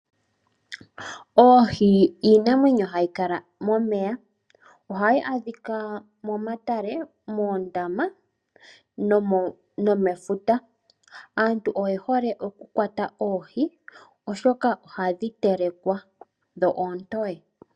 Oohi iinamwenyo hayi kala momeya. Ohayi adhika momatale, moondama nomefuta. Aantu oye hole okukwata oohi, oshoka ohadhi telekwa dho oontoye.